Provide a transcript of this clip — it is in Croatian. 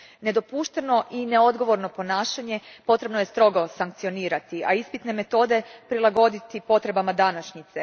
Nedopušteno i neodgovorno ponašanje potrebno je strogo sankcionirati, a ispitne metode prilagoditi potrebama današnjice.